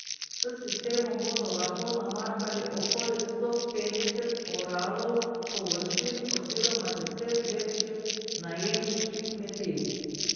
S sistemom bodo lahko namakali okoli sto petdeset oralov površin oziroma deset večjih najemniških kmetij.